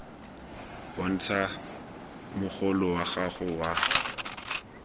bontsha mogolo wa gago wa